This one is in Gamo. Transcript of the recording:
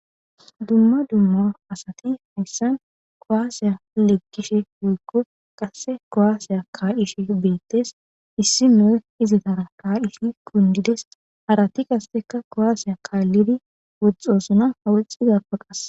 dumma dumma asati hayssan koaasiya lekkishe woykko qasse koaasiya kaa7ishe beettes issi noe izitara taa issinoy kundides harati kasseka koaasiya kaallidi woxxosuna hawaxxizappaqas